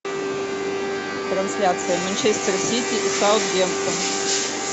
трансляция манчестер сити и саутгемптон